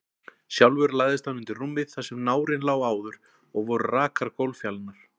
Sjálfur lagðist hann undir rúmið þar sem nárinn lá áður, og voru rakar gólffjalirnar.